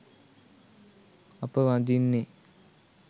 අප වඳින්නේ